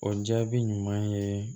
O jaabi ɲuman ye